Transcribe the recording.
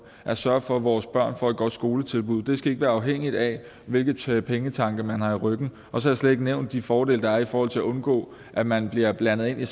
at sørge for at vores børn får et godt skoletilbud det skal ikke være afhængigt af hvilke pengetanke man har i ryggen og så har jeg slet ikke nævnt de fordele der er i forhold til at undgå at man bliver blandet ind i